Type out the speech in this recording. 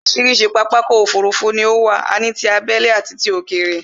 Orísirísi pápákọ̀ ọ̀kọ òfurufú ni ó wà, a ní tí abẹ́lé àti ti òkèrè